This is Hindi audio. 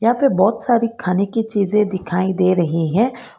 अंदर बहोत सारी खाने की चीजें दिखाई दे रही हैं।